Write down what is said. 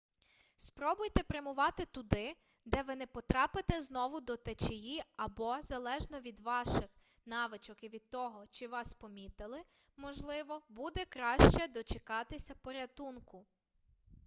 спробуйте прямувати туди де ви не потрапите знову до течії або залежно від ваших навичок і від того чи вас помітили можливо буде краще дочекатися порятунку